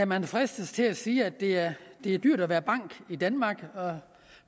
man fristes til at sige at det er dyrt at være bank i danmark og